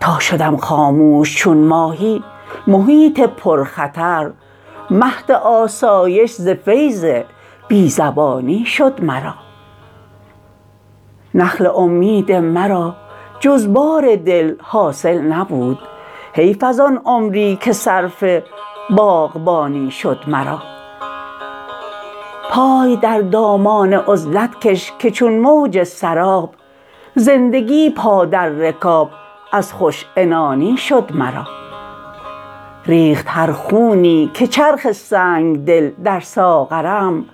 تا شدم خاموش چون ماهی محیط پر خطر مهد آسایش ز فیض بی زبانی شد مرا نخل امید مرا جز بار دل حاصل نبود حیف ازان عمری که صرف باغبانی شد مرا پای در دامان عزلت کش که چون موج سراب زندگی پا در رکاب از خوش عنانی شد مرا ریخت هر خونی که چرخ سنگدل در ساغرم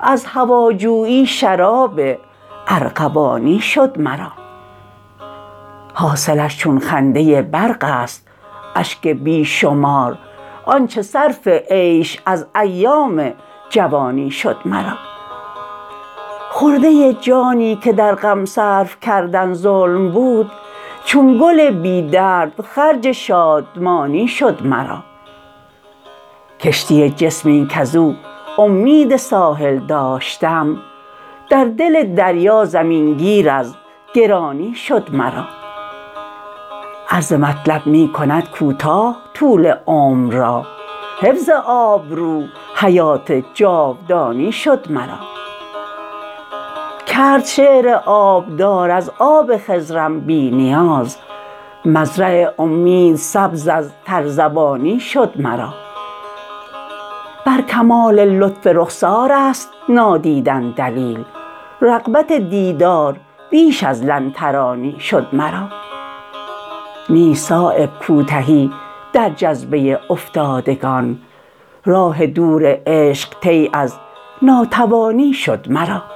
از هواجویی شراب ارغوانی شد مرا حاصلش چون خنده برق است اشک بی شمار آنچه صرف عیش از ایام جوانی شد مرا خرده جانی که در غم صرف کردن ظلم بود چون گل بی درد خرج شادمانی شد مرا کشتی جسمی کز او امید ساحل داشتم در دل دریا زمین گیر از گرانی شد مرا عرض مطلب می کند کوتاه طول عمر را حفظ آبرو حیات جاودانی شد مرا کرد شعر آبدار از آب خضرم بی نیاز مزرع امید سبز از ترزبانی شد مرا بر کمال لطف رخسارست نادیدن دلیل رغبت دیدار بیش از لن ترانی شد مرا نیست صایب کوتهی در جذبه افتادگان راه دور عشق طی از ناتوانی شد مرا